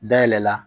Dayɛlɛ la